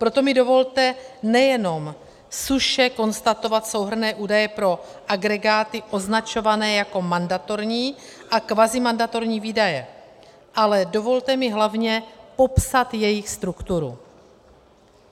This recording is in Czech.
Proto mi dovolte nejenom suše konstatovat souhrnné údaje pro agregáty označované jako mandatorní a kvazimandatorní výdaje, ale dovolte mi hlavně popsat jejich strukturu.